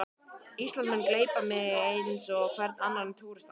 Ísland mun gleypa mig eins og hvern annan túrista.